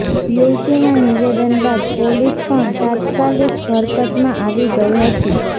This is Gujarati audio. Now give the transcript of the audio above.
યુવતીના નિવેદન બાદ પોલીસ પણ તાત્કાલિક હરકતમાં આવી ગઈ હતી